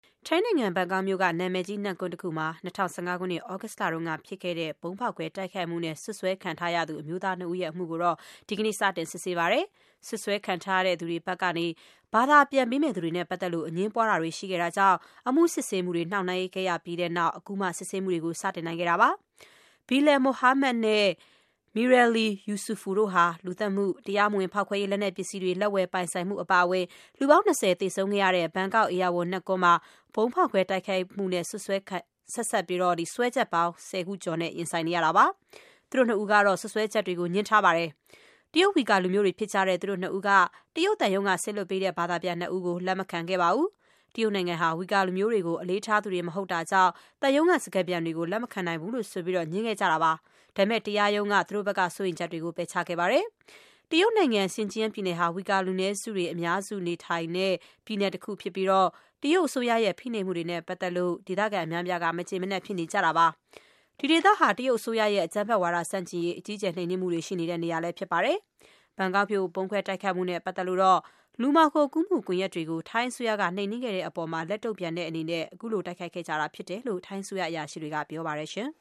ထိုင်းနိုင်ငံ ဘန်ကောက်မြို့က နာမည်ကြီး နတ်ကွန်းတခုမှာ ၂၀၁၅ ခုနှစ် သြဂုတ်လကဖြစ်ခဲ့တဲ့ ဗုံးခွဲတိုက်ခိုက်မှုနဲ့ စွပ်စွဲခံထားရတဲ့ အမျိုးသားနှစ်ဦးရဲ့ အမှုကို ဒီကနေ့ စတင်စစ်ဆေးပါတယ်။ စွပ်စွဲခံထားရသူတွေဘက်ကနေ ဘာသာပြန်ပေးမယ့်သူတွေနဲ့ပတ်သက်လို့ အငြင်းပွားတာတွေ ရှိခဲ့တာကြောင့် အမှုစစ်ဆေးမှုတွေ နှောင့်နှေးခဲ့ရပြီးတဲ့နောက် အခုမှ စစ်ဆေးမှုတွေ စတင်တာပါ။ Bilal Mohammed နဲ့ Mieraili Yusufu တို့ဟာ လူသတ်မှု၊ တရားမဝင် ဖောက်ခွဲရေးလက်နက်ပစ္စည်းတွေ လက်ဝယ်ပိုင်ဆိုင်မှု အပါအဝင် လူပေါင်း ၂၀ သေဆုံးခဲ့ရတဲ့ ဘန်ကောက် ဧရာဝဏ် နတ်ကွန်းမှာ ဗုံးခွဲတိုက်ခိုက်မှုနဲ့ ဆက်စပ်ပြီး စွဲချက်ပေါင်း ၁၀ ခုကျော်နဲ့ ရင်ဆိုင်နေရတာပါ။ သူတို့နှစ်ဦးကတော့ စွပ်စွဲချက်တွေကို ငြင်းဆန်ထားပါတယ်။ တရုတ် ဝှီကာလူမျိုးတွေ ဖြစ်တဲ့ သူတို့နှစ်ဦးက တရုတ်သံရုံးက စေလွှတ်ပေးတဲ့ ဘာသာပြန်နှစ်ဦးကို လက်မခံခဲ့ပါဘူး။ တရုတ်နိုင်ငံဟာ ဝှီကာလူမျိုးတွေကို အလေးထားသူတွေ မဟုတ်တာကြောင့် သံရုံးကစကားပြန်တွေကို လက်မံနိုင်ဘူးလို့ဆိုပြီး ငြင်းခဲ့ကြတာပါ။ ဒါပေမဲ့ တရားရုံးက နောက်ဆုံးမှာ သူတို့ဘက်က စိုးရိမ်ချက်တွေကို ပယ်ချခဲ့ပါတယ်။ တရုတ်နိုင်ငံ Xinjiang ပြည်နယ်ဟာဝှီကာ လူနည်းစုတွေ အများစုနေထိုင်တဲ့ ပြည်နယ်ဖြစ်ပြီး တရုတ်အစိုးရရဲ့ ဖိနှိပ်မှုတွေနဲ့ ပတ်သက်လို့ ဒေသခံအများအပြားက မကျေမနပ် ဖြစ်နေကြတာပါ။ ဒီဒေသဟာ တရုတ်အစိုးရရဲ့ အကြမ်းဖက်ဝါဒ ဆန့်ကျင်ရေး အကြီးအကျယ် နှိမ်နင်းမှုတွေ ရှိနေတဲ့နေရာလည်း ဖြစ်ပါတယ်။ ဘန်ကောက်မြို့ ဗုံးခွဲတိုက်ခိုက်မှုနဲ့ပတ်သက်လို့တော့ လူမှောင်ခိုကူးမှု ကွန်ရက်တွေကို ထိုင်းအစိုးရ နှိမ်နင်းခဲ့တဲ့အပေါ် လက်တုံ့ပြန်တဲ့အနေနဲ့ တိုက်ခိုက်ခဲ့ကြတာဖြစ်တယ်လို့ ထိုင်းအစိုးရ အရာရှိတွေက ပြောပါတယ်